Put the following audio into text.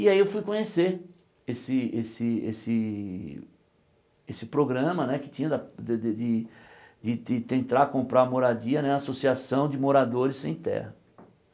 E aí eu fui conhecer esse esse esse esse programa né que tinha da de de de de tentar comprar moradia na Associação de Moradores Sem Terra.